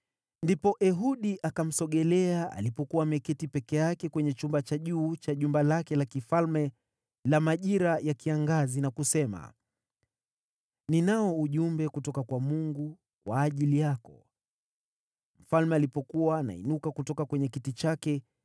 Ndipo Ehudi akamsogelea alipokuwa ameketi peke yake kwenye chumba cha juu cha jumba lake la kifalme la majira ya kiangazi, na kusema, “Ninao ujumbe kutoka kwa Mungu kwa ajili yako.” Mfalme alipokuwa anainuka kutoka kwenye kiti chake,